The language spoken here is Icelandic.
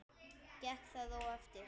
Gekk það og eftir.